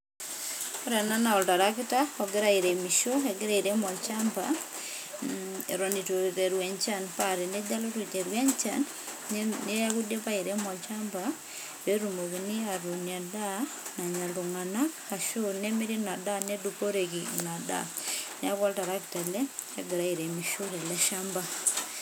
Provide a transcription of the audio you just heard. Ore ena naa oltarakita, ogira airemisho, egira airem olchamba, eton itu eiteru enchan. Pa tenejo alotu aiteru enchan, neeku idipa airemo olchamba, petumokini atuun endaa nanya iltung'anak, ashu nemiri inadaa netumi neduporeki inadaa. Neeku oltarakita ele, ogira airemisho tele shamba.